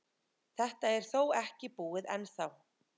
Þetta er þó ekki búið ennþá.